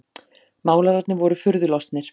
Málararnir voru furðulostnir.